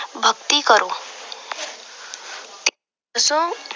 ਭਗਤੀ ਕਰੋ।